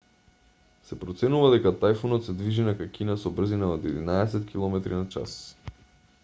се проценува дека тајфунот се движи накај кина со брзина од единаесет километри на час